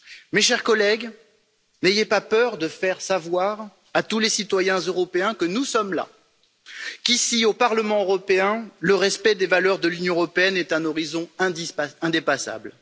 Mes chers collègues, n'ayez pas peur de faire savoir à tous les citoyens européens que nous sommes là, qu'ici, au Parlement européen, le respect des valeurs de l'Union européenne est un horizon indépassable.